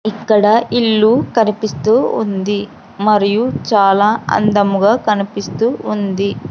ఇక్కడ ఇల్లు కనిపిస్తూ ఉంది మరియు చాలా అందముగ కనిపిస్తూ ఉంది.